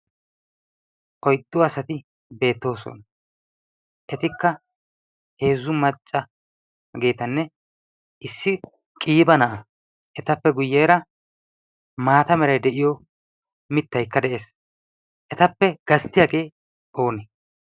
oyddu asati beettoosona etikka heezzu maccaageetanne issi qiiba na'aa etappe guyyeera maata meray de'iyo mittaykka de'ees etappe gasttiyaagee oonee